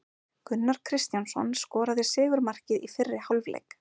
Gunnar Kristjánsson skoraði sigurmarkið í fyrri hálfleik.